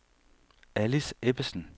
Alice Ebbesen